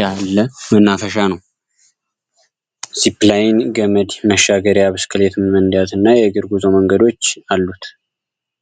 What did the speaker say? ያለ መናፈሻ ነው። ሲፕላይን ገመድ መሻገሪያ ብስክሌት መንዳት እና የእግር ጉዞ መንገዶች አሉት።